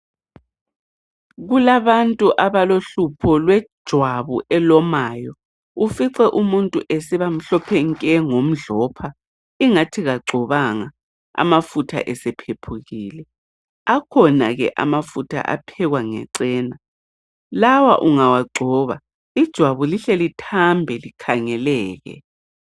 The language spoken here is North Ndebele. Kulabantu abalohlupho lwejwabu elomayo ufice umuntu esiba mhlophe nke ngomdlopha ingathi kagcobanga amafutha esephephukile akhona ke amafutha aphekwa ngechena layo ungawagcoba ijwabu lihle lithambe likhangeleke.